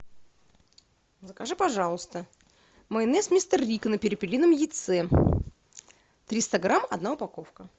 закажи пожалуйста майонез мистер рикко на перепелином яйце триста грамм одна упаковка